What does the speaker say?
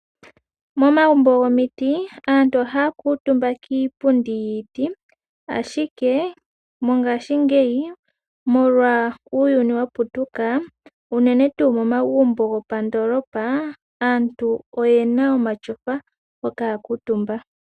Momagumbo gomiti aantu ohayi kuutumba kiipundi yiiti ashike mongashingeyi molwa uuyuni wa putuka unene tu momagumbo go pandoolopa aantu oye na omashofa hoka ya kuutumba.